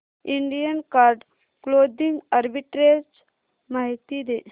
Indian card clothing arbitrage माहिती दे